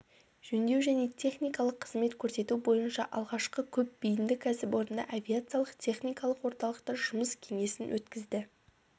жөндеу және техникалық қызмет көрсету бойынша алғашқы көпбейінді кәсіпорында авиациялық техникалық орталықта жұмыс кеңесін өткізді